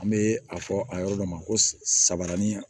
An bɛ a fɔ a yɔrɔ dɔ ma ko saaranin